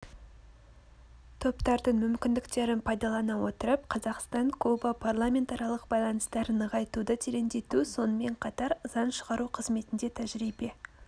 топтардың мүмкіндіктерін пайдалана отырып қазақстан-куба парламентаралық байланыстарын нығайтуды тереңдету сонымен қатар заң шығару қызметінде тәжірибе